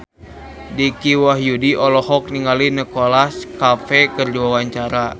Dicky Wahyudi olohok ningali Nicholas Cafe keur diwawancara